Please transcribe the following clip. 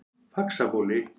Faxabóli